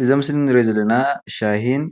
እዚ ኣብ ምስሊ ንሪኦ ዘለና ሻሂን